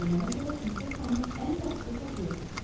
Deyilənə görə Pinkertonun ən yaxşı xəfiyyəsidir.